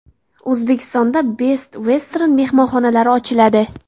O‘zbekistonda Best Western mehmonxonalari ochiladi.